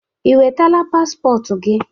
Ị nwetala paspọtụ gị?